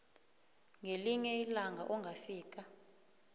ngelinye ilanga ongafika